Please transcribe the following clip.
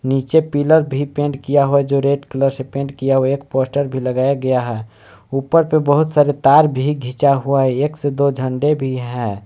नीचे पीलर भी पेंट किया हुआ जो रेड कलर से पेंट किया हुआ है एक पोस्टर भी लगाया गया है ऊपर पे बहुत सारे तार भी खींचा हुआ है एक से दो झंडे भी है।